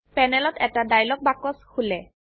প্যানেলত এটা ডায়লগ বাক্স খোলে